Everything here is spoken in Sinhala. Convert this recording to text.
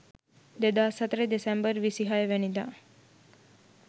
2004 දෙසැම්බර් 26 වැනි දා